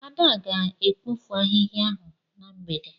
Ada ga-ekpofu ahịhịa ahụ na mgbede.